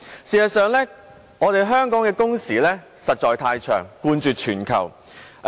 事實上，香港的工時實在太長，冠絕全球。